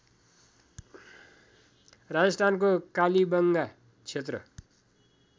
राजस्थानको कालीबंगा क्षेत्र